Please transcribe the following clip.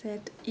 Certo.